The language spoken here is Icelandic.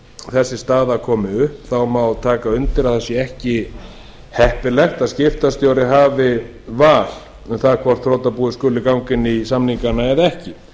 þessi staða komi upp má taka undir að ekki sé heppilegt að skiptastjóri hafi val um það hvort þrotabúið skuli ganga inn í samningana eða ekki